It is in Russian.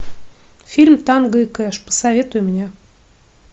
фильм танго и кэш посоветуй мне